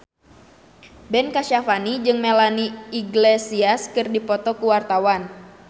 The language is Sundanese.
Ben Kasyafani jeung Melanie Iglesias keur dipoto ku wartawan